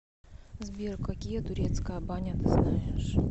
сбер какие турецкая баня ты знаешь